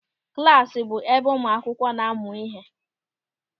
Klasi bụ ebe ụmụ akwụkwọ na-amụ ịhe.